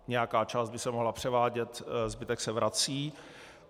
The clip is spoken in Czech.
Nějaká část by se mohla převádět, zbytek se vrací.